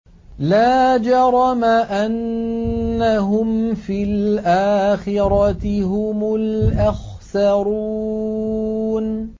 لَا جَرَمَ أَنَّهُمْ فِي الْآخِرَةِ هُمُ الْأَخْسَرُونَ